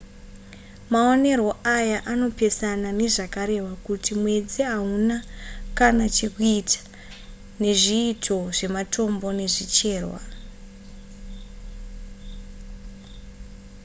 maonero aya anopesana nezvakarehwa kuti mwedzi hauna kana chekuita nezviitiko zvematombo nezvicherwa